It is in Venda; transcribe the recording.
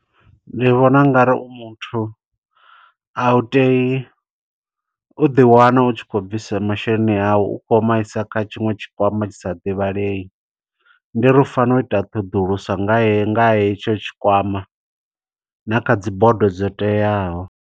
Ndi vhona ungari u muthu, a u teyi u ḓi wana u tshi kho bvisa masheleni awu, u khou maisa kha tshiṅwe tshikwama tshisa ḓivhalei. Ndi uri u fanela u ita ṱhoḓuluso nga haye, nga ha hetsho tshikwama, na kha dzibodo dzo teaho.